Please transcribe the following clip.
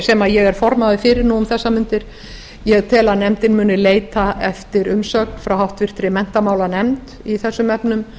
sem ég er formaður fyrir nú um þessar mundir ég tel að nefndin muni leita eftir umsögn frá háttvirtri menntamálanefnd í þessum efnum